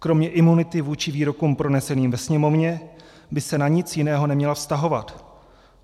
Kromě imunity vůči výrokům proneseným ve Sněmovně by se na nic jiného neměla vztahovat.